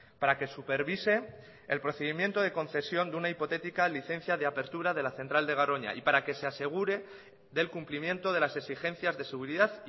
para que supervise el procedimiento de concesión de una hipotética licencia de apertura de la central de garoña y para que se asegure del cumplimiento de las exigencias de seguridad